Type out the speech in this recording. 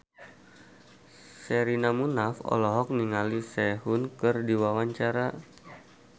Sherina Munaf olohok ningali Sehun keur diwawancara